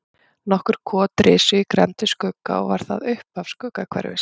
Nokkur kot risu í grennd við Skugga og var það upphaf Skuggahverfis.